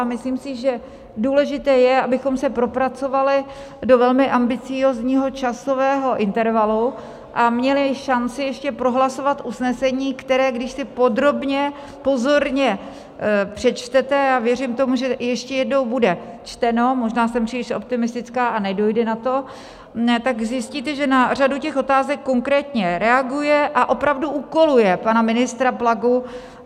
A myslím si, že důležité je, abychom se propracovali do velmi ambiciózního časového intervalu a měli šanci ještě prohlasovat usnesení, které když si podrobně, pozorně přečtete, a věřím tomu, že ještě jednou bude čteno - možná jsem příliš optimistická a nedojde na to - tak zjistíte, že na řadu těch otázek konkrétně reaguje a opravdu úkoluje pana ministra Plagu.